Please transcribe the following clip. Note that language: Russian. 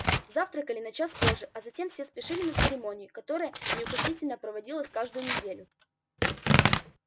завтракали на час позже а затем все спешили на церемонию которая неукоснительно проводилась каждую неделю